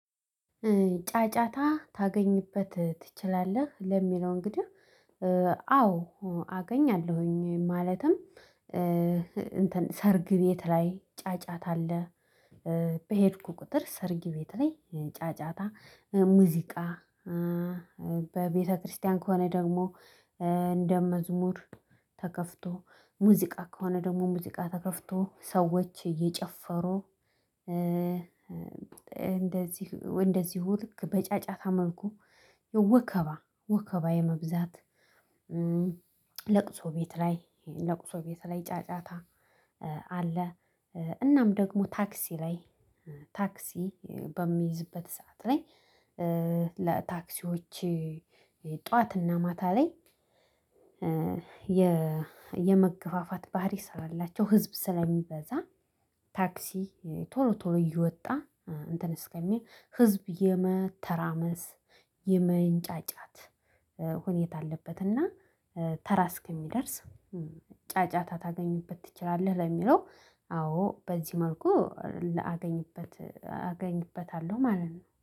ጫጫታ ታገኝበት ትችላለህ? ለሚለው እንግዲህ አዎ አገኛለሁኝ ማለትም ሰርግ ቤት ላይ ጫጫታ አለ። በሄድኩ ቁጥር ሰርግ ቤት ላይ ጫጫታ ሙዚቃ። በቤተክርስቲያን ከሆነ ደግሞ እንደ መዝሙር። ተከፍቶ ሙዚቃ ከሆነ ደግሞ ሙዚቃ ተከፍቶ ሰዎች እየጨፈሩ እንደዚህ እንደዚሁ ልክ በጫጫታ መልኩ ወከባ ወከባ የመብዛት። ለቅሶ ቤት ላይ ለቅሶ ቤት ላይ ጫጫታ አለ። እናም ደግሞ ታክሲ ላይ ታክሲ በምይዝበት ሰዓት ላይ ለታክሲዎች ጠዋትና ማታ ላይ። የመገፋፋት ባህሪ ስላላቸው ህዝብ ስለሚበዛ ታክሲ ቶሎ ቶሎ እየወጣ እንትን እስከሚል ህዝብ የመተራመስ የመንጫጫት ሁኔታ አለበት። እና ተራ እስኪደርስ ጫጫታ ታገኝበት ትችላለህ ለሚለው አዎ በዚህ መልኩ ላገኝበት አገኝበታለሁ ማለት ነው